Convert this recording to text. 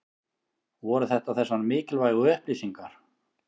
Voru þetta þessar mikilvægu upplýsingar?